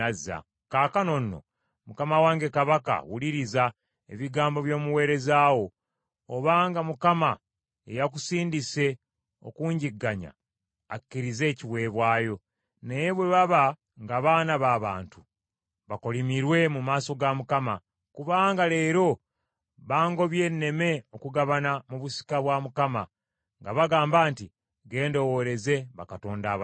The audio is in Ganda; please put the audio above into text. Kaakano nno, mukama wange kabaka wuliriza ebigambo by’omuweereza wo. Obanga Mukama ye yakusindise okunjigganya, akkirize ekiweebwayo. Naye bwe baba nga baana ba bantu, bakolimirwe mu maaso ga Mukama , kubanga leero bangobye nneme okugabana mu busika bwa Mukama nga bagamba nti, ‘Genda oweereze bakatonda abalala.’